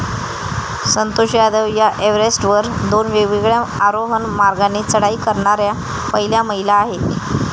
संतोष यादव या एव्हरेस्टवर दोन वेगवेगळ्या आरोहण मार्गाने चढाई करणाऱ्या पहिल्या महिला आहेत